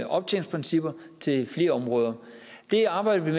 optjeningsprincipper til flere områder det arbejdede